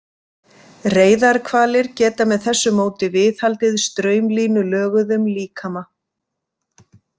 Reyðarhvalir geta með þessu móti viðhaldið straumlínulöguðum líkama.